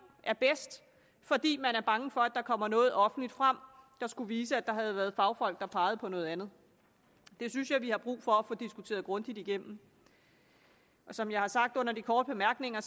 er bedst fordi man er bange for at der kommer noget offentligt frem der skulle vise at der havde været fagfolk der pegede på noget andet det synes jeg at vi har brug for at få diskuteret grundigt igennem som jeg har sagt under de korte bemærkninger